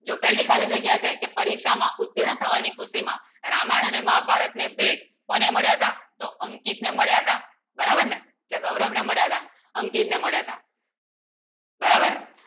જો પહેલી ખાલી જગ્યા છે કે પરીક્ષામાં ઉત્તીર્ણ થવાની કૃતી માં રામાયણ અને મહાભારતને ભેટ કોણે મળ્યા સા સૌ અંકિત ને મળ્યા સા બરાબર ને ગૌરવ ને મળ્યા સા અંકિત ને મળ્યા સા બરાબર